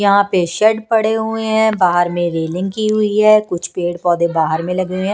यहां पे शेड पड़े हुए हैं बाहर में रेलिंग की हुई है कुछ पेड़-पौधे बाहर में लगे हुए हैं।